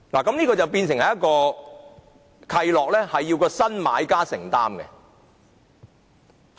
在這種情況下，契諾變為由新買家承擔。